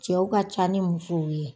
Cɛw ka ca ni musow ye.